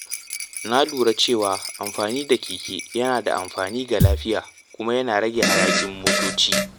Na lura cewa amfani da keke yana da amfani ga lafiya kuma yana rage hayakin mota.